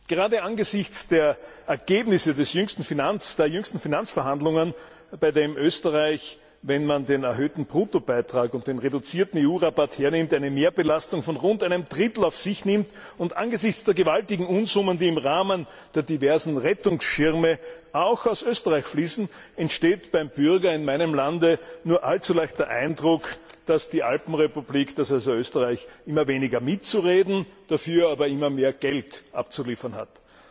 Gerade angesichts der Ergebnisse der jüngsten Finanzverhandlungen, bei denen Österreich, wenn man den erhöhten Bruttobeitrag und den reduzierten EU Rabatt hernimmt, eine Mehrbelastung von rund einem Drittel auf sich genommen hat, und angesichts der gewaltigen Unsummen, die im Rahmen der diversen Rettungsschirme auch aus Österreich fließen, entsteht beim Bürger in meinem Land nur allzu leicht der Eindruck, dass die Alpenrepublik also Österreich immer weniger mitzureden, dafür aber immer mehr Geld abzuliefern hat.